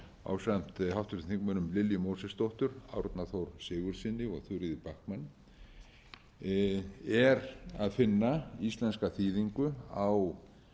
fyrsti flutningsmaður ásamt háttvirtum þingmönnum lilju mósesdóttur árna þór sigurðssyni og þuríði backman er að finna íslenska þýðingu á